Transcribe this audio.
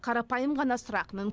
қарапайым ғана сұрақ